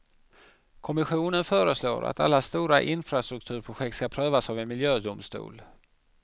Kommissionen föreslår att alla stora infrastrukturprojekt ska prövas av en miljödomstol.